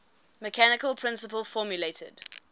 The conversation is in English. mechanical principle formulated